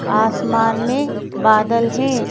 आसमान में बादल हैं।